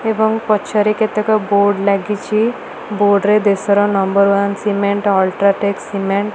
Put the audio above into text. ଏବଂ ପଛ ରେ କେତେ ବୋର୍ଡ ଲାଗିଛି ବୋର୍ଡ ରେ ଦେଶର number one cement UltraTech cement --